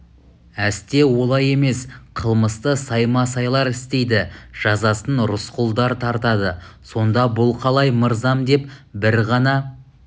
әсте олай емес қылмысты саймасайлар істейді жазасын рысқұлдар тартады сонда бұл қалай мырзам деп бір ғана